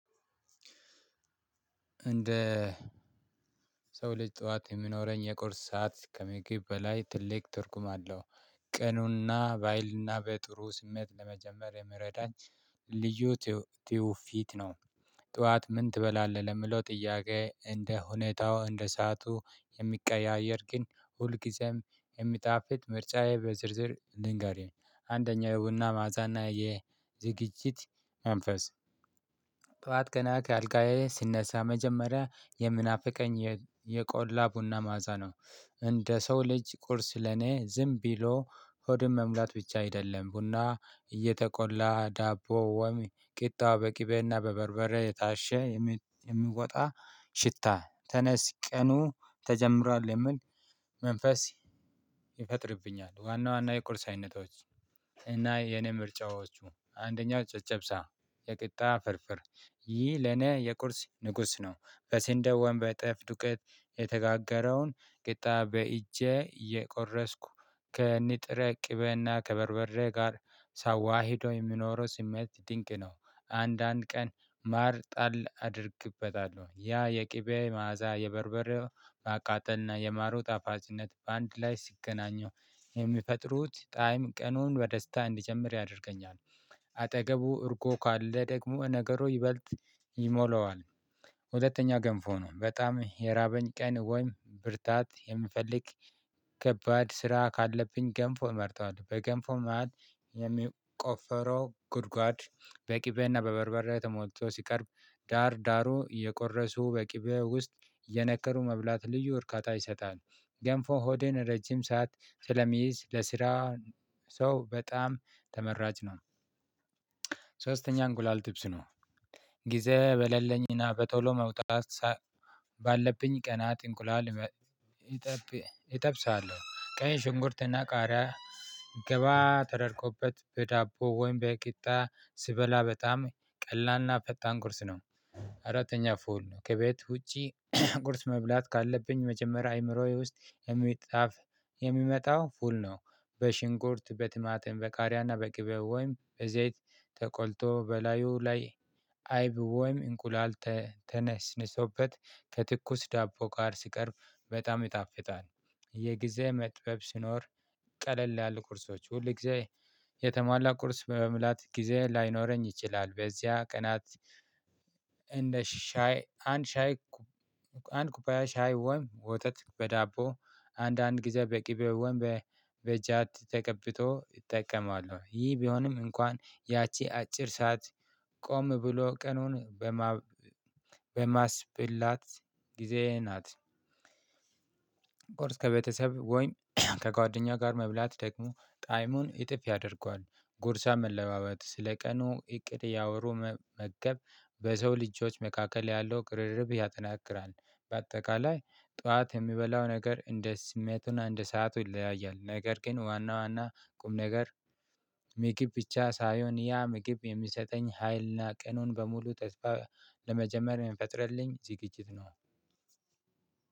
እንደ ሰው ልጅ ጠዋት የሚኖረኝ የቁርስ ሰዓት ከምግብ በላይ ትልቅ ትርጉም አለው። ቀኑንና ባይልና በጥሩ ስሜት ለመጀመር የሚረዳኝ ልዩ ትውፊት ነው። ጠዋት ምን ትበላለህ ለምለው ጥያቄ? እንደ ሁኔታው እንደ እንደ ሰዓቱ የሚቀያየር ግን ሁልጊዜም የሚጣፍጥ ምርጫዬ በዝርዝር ልንገርህ አንደኛ የቡና መዐዛና የዝግጅት መንፈስ። ጠዋት ገና አልጋዬ ስነሳ መጀመሪያ የምናፍቀኝ የቆላ ቡና ማዛ ነው። እንደ ሰው ልጅ ቁርስ ለኔ ዝም ቢሎ ሆድን መሙላት ብቻ አይደለም። ቡና እየተቆላ ዳቦ ወሚ ቂጣ በቂቤና በበርበሬ የታሸ የሚወጣ ሽታ ተነስ ቀኑ ተጀምሯል የምል መንፈስ ይፈጥርብኛል። ዋና ዋና የቁርስ አይነቶች። እና የኔ ምርጫዎቹ አንደኛው ጨጨብሳ የቂጣ ፍርፍር ይህ ለኔ የቁርስ ንጉስ ነው። በስንዴ ወይም በጠፍ ዱቀት የተጋገረውን ቅጣ በእጄ የቆረስኩ ከንጥረ ቅበና ከበርበሬ ጋር ሳዋሂደው የሚኖረው ስሜት ድንቅ ነው። አንዳንድ ቀን ማር ጣል አደርግበታለሁ ያ የቅቤ መዓዛ የበርበሬው ማቃጠልና የማሩ ጣፋጭነት በአንድ ላይ ሲገናኘው የሚፈጥሩት ጣይም ቀኑን በደስታ እንዲጀምር ያደርገኛል። አጠገቡ እርጎ ካለ ደግሞ ነገሩ ይበልጥ ይሞላዋል። ሁለተኛ ገንፎ ነው በጣም የራበኝ ቀን ወይም ብርታት የምፈልግ ከባድ ስራ ካለብኝ ገንፎ መርጠዋለው። በገንፎ ማለት የሚቆፈረው ጉድጓድ በቅቤና በበርበሬ ተሞልቶ ሲቀርብ ዳር ዳሩ የቆረሱ በቅቤ ውስጥ የነከሩ መብላት ልዩ ወርካታ ይሰጣል። ገንፎ ሆዴን ረጅም ሰዓት ስለሚይዝ ለስራ ሰው በጣም ተመራጭ ነው። ሶስተኛ እንቁላል ጥብስ ነው። ጊዜ በለለኝና በቶሎ መውጣት ባለብኝ ቀናት እንቁላል እጠብሳለሁ ቀይ ሽንኩርትና ቃሪያ ገባ ተደርጎበት በዳቦ ወይም በቂጣ ስበላ በጣም ቀላልና ፈጣን ቁርስ ነው። አራተኛ ፉል ነው ከቤት ውጪ ቁርስ መብላት ካለብኝ መጀመሪያ አይምሮዬ ውስጥ የሚጣፍ የሚመጣው ፉል ነው። በሽንኩርት በቲማቲም በቃርያና በቅቤ ወይም በዘይት ተቆልቶ በላዩ ላይ አይብ ወይም እንቁላል ተነስንሶበት ከትኩስ ዳቦ ጋር ሲቀርብ በጣም ይጣፍጣል። የጊዜ መጥበብ ስኖር ቀለል ያሉ ቁርሶች ሁል ጊዜ የተሟላ ቁርስ በመምላት ጊዜ ላይኖረኝ ይችላል በዚያ ቀናት። እንደ ሻይ አንድ ሻይ አንድ ኩባያ ሻይ ወይም ወተት በዳቦ አንዳንድ ጊዜ በቅቤ ወይም በበጃት ተቀብቶ እጠቀማለሁ። ይህ ቢሆንም እንኳን ያቺ አጭር ሰዓት ቆም ብሎ ቀኑን በማስብላት ጊዜየ ናት። ቁርስ ከቤተሰብ ወይም ከጓደኛ ጋር መብላት ደግሞ ጣይሙን እጥፍ ያደርገዋል ጉርሻ መለዋወጥ ስለ ቀኑ እቅድ እያወሩ መመገብ በሰው ልጆች መካከል ያለው ቅርርብ ያጠናክራል። በአጠቃላይ ጠዋት የሚበላው ነገር እንደ ስሜቱን እንደ ሰዓቱ ይለያያል ነገር ግን ዋና ዋና ቁም ነገር። ምግብ ብቻ ሳይሆን ያ ምግብ የሚሰጠኝ ሀይልና ቀኑን በሙሉ ተስፋ ለመጀመር የምንፈጥርልኝ ዝግጅት ነው።